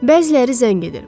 Bəziləri zəng edir.